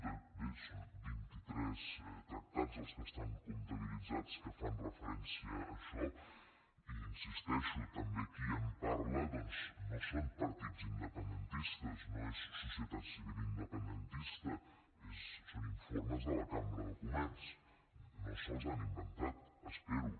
bé són vint i tres tractats els que estan comptabilitzats que fan referència a això i hi insisteixo també qui en parla doncs no són partits independentistes no és societat civil independentista són informes de la cambra de comerç no se’ls han inventat espero